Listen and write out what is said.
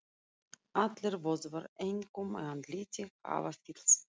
Allir vöðvar, einkum í andliti, hafa fyllst.